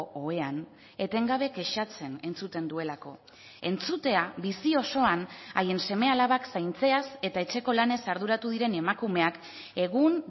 ohean etengabe kexatzen entzuten duelako entzutea bizi osoan haien seme alabak zaintzeaz eta etxeko lanez arduratu diren emakumeak egun